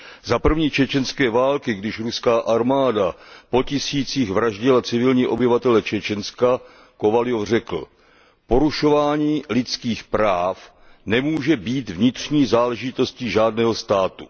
Za první čečenské války, když ruská armáda po tisících vraždila civilní obyvatele Čečenska, Kovaljov řekl Porušování lidských práv nemůže být vnitřní záležitostí žádného státu.